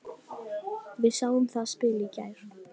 Við sáum það spil í gær.